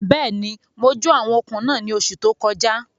Bẹ́ẹ̀ni, mo jó àwọn okùn náà ní oṣù tó kọjá